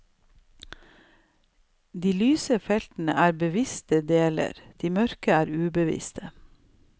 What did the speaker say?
De lyse feltene er bevisste deler, de mørke er ubevisste.